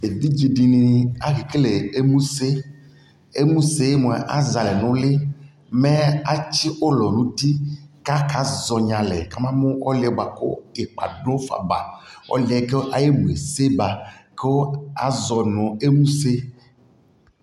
ɛvidzɛ dini akɛ kɛlɛ ɛmʋsɛ, ɛmʋsɛ mʋa azɛ alɛ nʋ ʋlii mɛ atsi ʋlɔ nʋ ʋti kʋ aka zɔnyi alɛ kʋ aba mʋ ɔlʋɛ bʋakʋ ikpa dʋfa ba, ɔlʋɛ kʋ ayi ɛmʋɛ ɛsɛ ba kʋ azɔnʋ ɛmʋsɛ